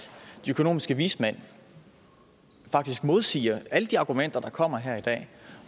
de økonomiske vismænd faktisk modsiger alle de argumenter der kommer her i dag